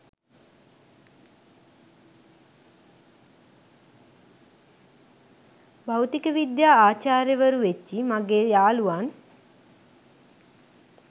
භෞතික විද්‍යා ආචාර්යවරු වෙච්ච මගේ යාළුවන්